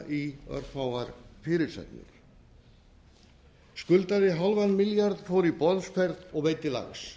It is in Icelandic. í örfáar fyrirsagnir skuldaði hálfan milljarð fór í boðsferð og veiddi lax